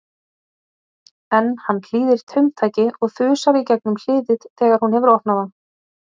En hann hlýðir taumtaki og þusar í gegnum hliðið þegar hún hefur opnað það.